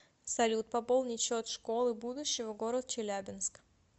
салют пополнить счет школы будущего город челябинск